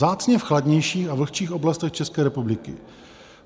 Vzácně v chladnějších a vlhčích oblastech České republiky.